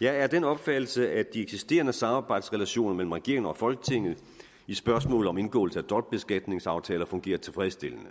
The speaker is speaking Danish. jeg er af den opfattelse at de eksisterende samarbejdsrelationer mellem regeringen og folketinget i spørgsmålet om indgåelse af dobbeltbeskatningsaftaler fungerer tilfredsstillende